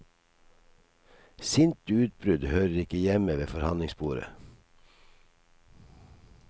Sinte utbrudd hører ikke hjemme ved forhandlingsbordet.